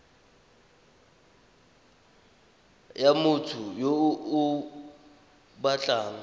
ya motho yo o batlang